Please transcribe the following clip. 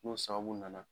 N'o sababu nana